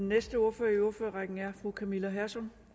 næste ordfører i ordførerrækken er fru camilla hersom